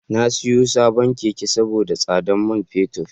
Na siyo sabon Keke saboda tsadar man fetur.